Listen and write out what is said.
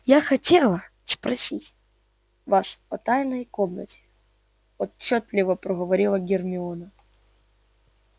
я хотела спросить вас о тайной комнате отчётливо проговорила гермиона